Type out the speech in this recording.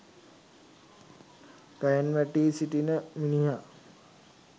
ගහෙන් වැටී සිටින මිනිහා